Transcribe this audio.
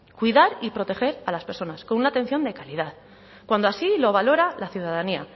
cuidar y proteger a las personas con una atención de calidad cuando así lo valora la ciudadanía